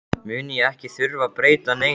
mun ég ekki þurfa að breyta neinu.